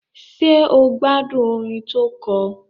Ṣé o gbádùn orin tó kọ?